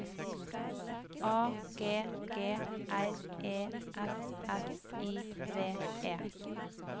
A G G R E S S I V E